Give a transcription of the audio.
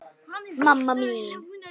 mamma mín